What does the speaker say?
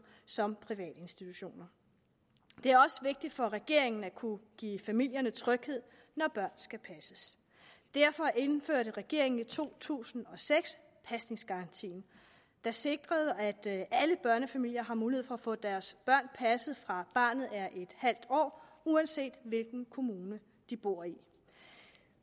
som privatinstitutioner det er også vigtigt for regeringen at kunne give familierne tryghed når børn skal passes derfor indførte regeringen i to tusind og seks pasningsgarantien der sikrer at alle børnefamilier har mulighed for at få deres børn passet fra barnet er en halv år uanset hvilken kommune de bor i